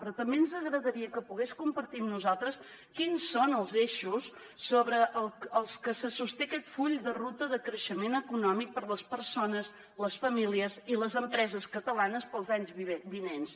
però també ens agradaria que pogués compartir amb nosaltres quins són els eixos sobre els que se sosté aquest full de ruta de creixement econòmic per a les persones les famílies i les empreses catalanes per als anys vinents